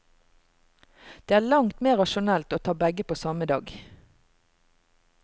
Det er langt mer rasjonelt å ta begge på samme dag.